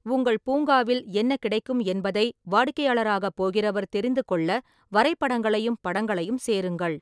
உங்கள் பூங்காவில் என்ன கிடைக்கும் என்பதை வாடிக்கையாளராகப் போகிறவர் தெரிந்துகொள்ள வரைபடங்களையும் படங்களையும் சேருங்கள்.